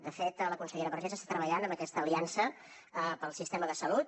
de fet la consellera vergés està treballant en aquesta aliança pel sistema de salut